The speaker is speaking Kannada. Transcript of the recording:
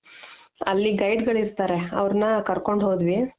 ಅಲ್ಲಿ guide ಗಳಿರ್ತಾರೆ ಅವರ್ನ ಕರ್ಕೊಂಡು ಹೋದ್ವಿ .